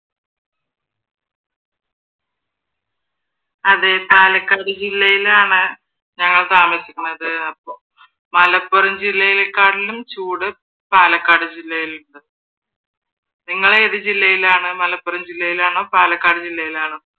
അതെ പാലക്കാട് ജില്ലയിലാണ് ഞങ്ങൾ താമസിക്കുന്നത്. മലപ്പുറം ജില്ലയിലേക്കാട്ടിലും ചൂട് പാലക്കാട് ജില്ലയിൽ ഇണ്ട്. നിങ്ങൾ ഏത് ജില്ലയിലാണ്? മലപ്പുറം ജില്ലയിലാണോ? പാലക്കാട് ജില്ലയിലാണോ?